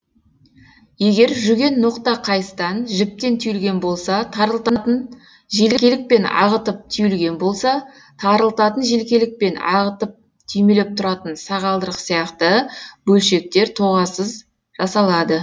егер жүген ноқта қайыстан жіптен түйілген болса тарылтатын желкелік пен ағытып түйілген болса тарылтатын желкелік пен ағытып түймелеп тұратын сағалдырық сияқты бөлшектер тоғасыз жасалады